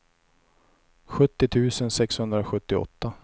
sjuttio tusen sexhundrasjuttioåtta